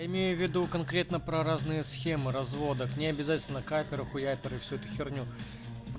имею в виду конкретно про разные схемы развода к ней обязательно каперы хуяперы всю эту херню